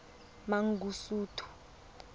mangosuthu